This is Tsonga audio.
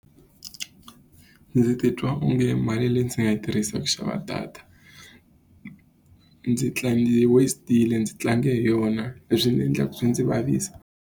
Ndzi titwa onge mali leyi ndzi nga yi tirhisaka ku xava data ndzi ndzi yi waste-ile ndzi tlange hi yona. Leswi swi endla swi ndzi vavisa.